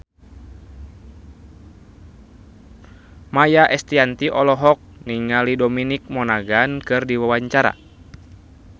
Maia Estianty olohok ningali Dominic Monaghan keur diwawancara